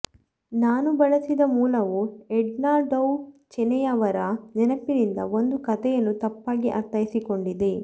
ನಾನು ಬಳಸಿದ ಮೂಲವು ಎಡ್ನಾ ಡೌ ಚೆನೆಯವರ ನೆನಪಿನಿಂದ ಒಂದು ಕಥೆಯನ್ನು ತಪ್ಪಾಗಿ ಅರ್ಥೈಸಿಕೊಂಡಿದೆ